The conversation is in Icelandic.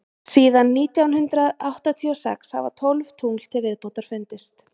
síðan nítján hundrað áttatíu og sex hafa tólf tungl til viðbótar fundist